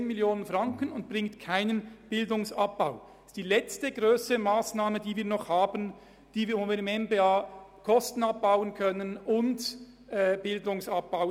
Sie bringt Einsparungen in der Höhe von 10 Mio. Franken und keinen Bildungsabbau.